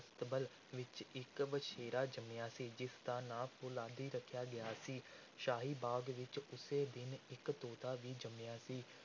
ਅਸਤਬਲ ਵਿਚ ਇਕ ਵਛੇਰਾ ਜੰਮਿਆ ਸੀ, ਜਿਸ ਦਾ ਨਾਂ ‘ਫ਼ੌਲਾਦੀ’ ਰੱਖਿਆ ਗਿਆ ਸੀ। ਸ਼ਾਹੀ ਬਾਗ਼ ਵਿੱਚ ਉਸੇ ਦਿਨ ਇਕ ਤੋਤਾ ਵੀ ਜੰਮਿਆ ਸੀ।